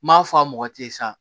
N m'a fɔ a mɔgɔ te ye sa